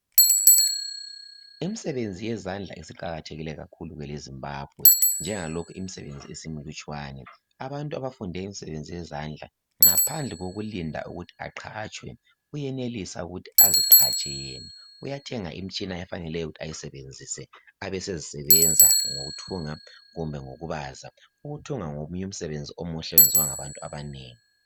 imsebenzi yezandla isiqakathekile kwele Zimbabwe njengalokhu imisebenzi isimilutshwane abantu abafunde imisebenzi yezandla ngaphandle kokulinda ukuthi aqatshwe uyenelisa ukuthi aziqatshe yena uyenelisa ukuthenga imitshina okufanele ayisebenzise abesezisebenza ngokuthunga kumbe ukubaza ukuthunga ngomunye umsebenzi omuhle oyenziwa ngabantu abanengi